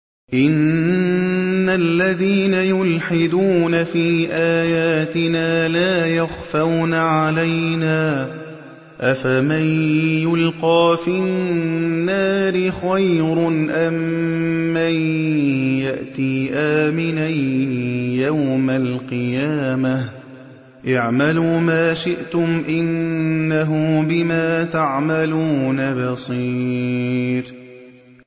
إِنَّ الَّذِينَ يُلْحِدُونَ فِي آيَاتِنَا لَا يَخْفَوْنَ عَلَيْنَا ۗ أَفَمَن يُلْقَىٰ فِي النَّارِ خَيْرٌ أَم مَّن يَأْتِي آمِنًا يَوْمَ الْقِيَامَةِ ۚ اعْمَلُوا مَا شِئْتُمْ ۖ إِنَّهُ بِمَا تَعْمَلُونَ بَصِيرٌ